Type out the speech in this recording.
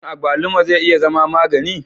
Shin abaluma zai iya zama magani?